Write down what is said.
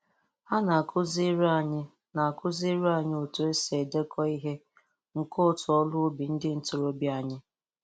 Ha na-akụziri anyị na-akụziri anyị otu e si edekọ ihe nke otu ọrụ ubi ndị ntorobịa anyị.